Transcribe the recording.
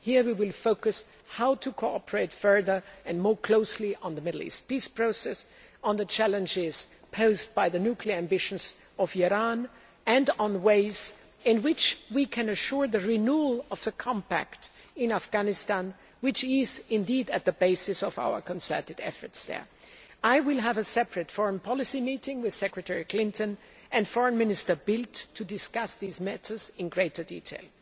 Here we will focus on how to cooperate further and more closely on the Middle East peace process, on the challenges posed by the nuclear ambitions of Iran, and on ways in which we can assure the renewal of the compact in Afghanistan, which is at the basis of our concerted efforts there. I will have a separate foreign policy meeting with Secretary Clinton and Foreign Minister Bildt to discuss these matters in greater detail.